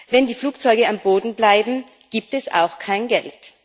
Wenn die Flugzeuge am Boden bleiben, gibt es auch kein Geld.